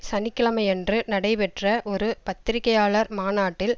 சனி கிழமையன்று நடைபெற்ற ஒரு பத்திரிகையாளர் மாநாட்டில்